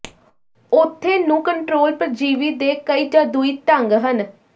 ਉੱਥੇ ਨੂੰ ਕੰਟਰੋਲ ਪਰਜੀਵੀ ਦੇ ਕਈ ਜਾਦੂਈ ਢੰਗ ਹਨ